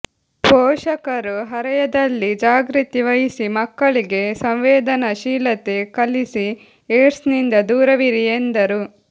ಪೋಷಕರು ಹರೆಯದಲ್ಲಿ ಜಾಗೃತಿ ವಹಿಸಿ ಮಕ್ಕಳಿಗೆ ಸಂವೇದನಾಶೀಲತೆ ಕಲಿಸಿ ಏಡ್ಸ್ನಿಂದ ದೂರವಿರಿ ಎಂದರು